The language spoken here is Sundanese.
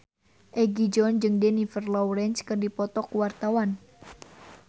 Egi John jeung Jennifer Lawrence keur dipoto ku wartawan